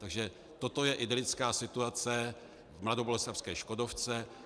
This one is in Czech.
Takže toto je idylická situace v mladoboleslavské Škodovce.